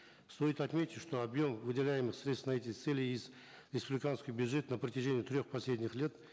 стоит отметить что объем выделяемых средств на эти цели из республиканского бюджета на протяжении трех последних лет